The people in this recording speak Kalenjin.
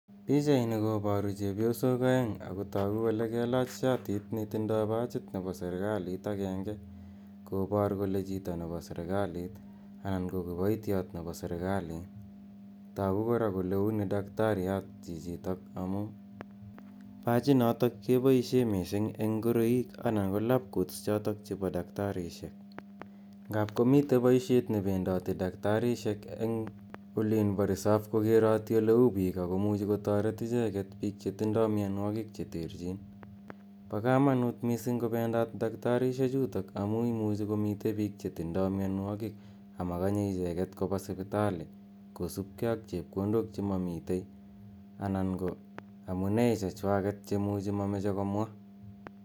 Pichaini koparu chepyosok aeng' ako tagu kole kelach shatit netindai pachit nepo serikalit agenge kopar kole chito ne po serikalit anan ko kipoityot nepo serikaliit. Tagh kora kole uni dakitariat chichitok amu pachinitok kepaishe missing eng' ngoroik ana ko labcoats chotok chepo daktarishiek. Ngap komitei poishet nependati daktarishek ebg' olin po resop kokerati ole u piik ako muchi kotaret icheget, piik che tindai mianwogiik che terchiin. Pa kamanut missing' kopendat daktarishechutok amu imuchi komitei piik chd tindai mianwogiik ama kanye icheget ko pa sipitali kosup gei ak chepkondok che mamitei anan ko amu nee chechwaget che ma mache komwa .